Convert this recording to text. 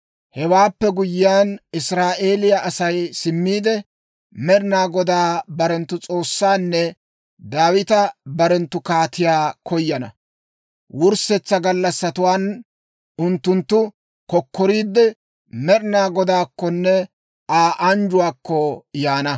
Hewaappe guyyiyaan, Israa'eeliyaa Asay simmiide, Med'inaa Godaa barenttu S'oossaanne Daawita barenttu kaatiyaa koyana; wurssetsa gallassatuwaan unttunttu kokkoriidde, Med'inaa Godaakkonne Aa anjjuwaakko yaana.